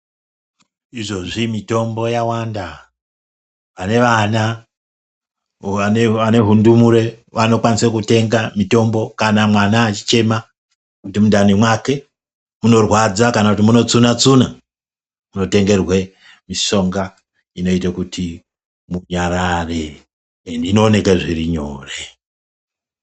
Izvozvi mitombo yawanda, ane vana vane hundumure vanokwanisa kutenga mitombo kana mwana achichema kuti mundani mwake munorwadza kana kuti muri kutsuna tsuna unotengerwe mitombo inoite kuti munyararae ende inooneke zviri nyore.